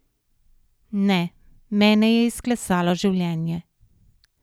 Ne, mene je izklesalo življenje.